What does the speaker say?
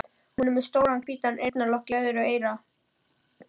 Hún er með stóran hvítan eyrnalokk í öðru eyra.